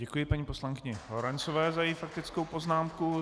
Děkuji paní poslankyni Lorencové za její faktickou poznámku.